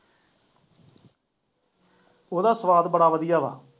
ਉਹਦਾ ਸੁਆਦ ਬੜਾ ਵਧੀਆ ਵਾ